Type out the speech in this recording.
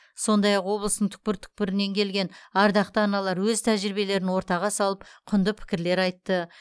сондай ақ облыстың түкпір үкпірінен келген ардақты аналар өз тәжірибелерін ортаға салып құнды пікірлер айтты